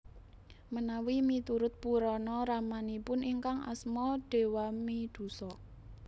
Menawi miturut Purana ramanipun ingkang Asma Dewamidhusa